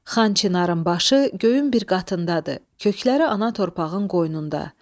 Xan Çinarın başı göyün bir qatındadır, kökləri ana torpağın qoynunda.